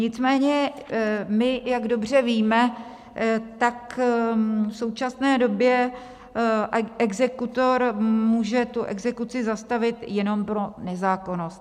Nicméně my, jak dobře víme, tak v současné době exekutor může tu exekuci zastavit jenom pro nezákonnost.